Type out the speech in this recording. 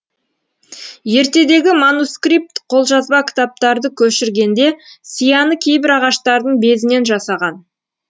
ертедегі манускрипт қолжазба кітаптарды көшіргенде сияны кейбір ағаштардың безінен жасаған